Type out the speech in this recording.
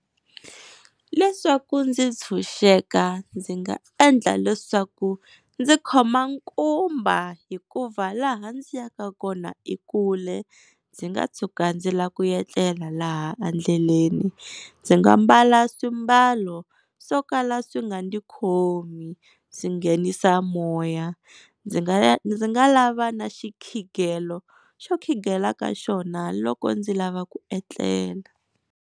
Leswaku ndzi tshunxeka ndzi nga endla leswaku ndzi khoma nkumba hikuva laha ndzi ya ka kona i kule ndzi nga tshuka ndzi la ku etlela laha endleleni. Ndzi nga mbala swimbalo swo kala swi nga ndzi khomi swi nghenisa moya. Ndzi nga ndzi nga lava na xikhigelo xo khingela ka xona loko ndzi lava ku etlela.